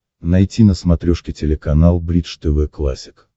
найти на смотрешке телеканал бридж тв классик